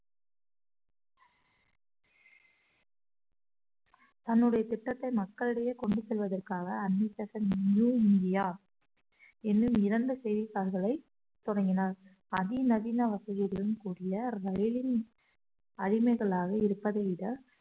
தன்னுடைய திட்டத்தை மக்களிடையே கொண்டு செல்வதற்காக அன்னி பெசன்ட் நியூ இந்தியா என்னும் இரண்டு செய்தித்தாள்களை தொடங்கினார் அதிநவீன வசதியுடன் கூடிய ரயிலின் அடிமைகளாக இருப்பதை விட